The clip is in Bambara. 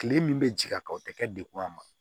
Kile min bɛ ji a kan o tɛ kɛ degun ye a ma